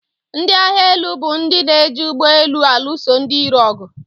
Ndị agba élú bụ ndị na-eji ugbọelu alụso ndị irò ọgụ.